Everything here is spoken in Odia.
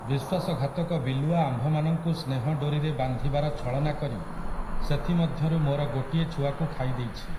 ବିଶ୍ୱାସଘାତକ ବିଲୁଆ ଆମ୍ଭମାନଙ୍କୁ ସ୍ନେହ ଡୋରିରେ ବାନ୍ଧିବାର ଛଳନା କରି ସେଥିମଧ୍ୟରୁ ମୋର ଗୋଟିଏ ଛୁଆକୁ ଖାଇଦେଇଛି ।